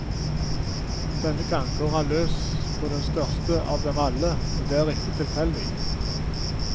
Denne gang går han løs på den største av dem alle, og det er ikke tilfeldig.